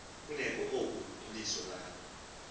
kuneoku iliso lam